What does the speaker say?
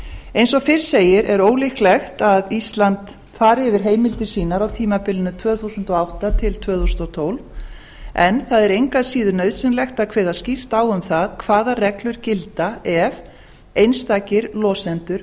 eins og fyrr segir er ólíklegt að ísland fari yfir heimildir sínar á tímabilinu tvö þúsund og átta til tvö þúsund og tólf en það er engu að síður nauðsynlegt að kveða skýrt á um það hvaða reglur gilda ef einstakir losendur